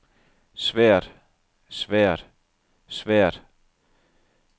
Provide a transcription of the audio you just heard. svært svært svært